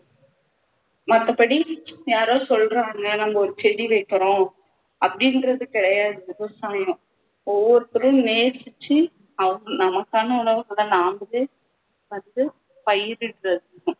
மத்தபடி யாரோ சொல்றாங்க நம்ம ஒரு செடி வைக்கணும் அப்படின்றது கிடையாது விவசாயம் ஒவ்வொருத்தரும் நேசிச்சு அவங்க நமக்கான உணவுகளை நாமலே வந்து பயிரிடுறது